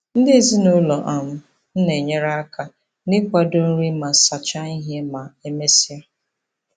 Ndị ezinụụlọ um m na-enyekarị aka n'ịkwado nri ma sachaa ihe ma e mesịa.